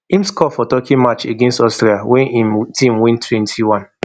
im score for turkey match against austria wey im team win twenty-one